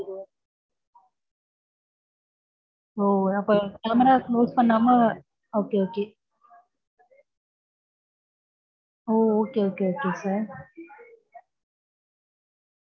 okay okay okay okay sir